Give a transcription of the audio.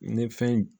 Ni fɛn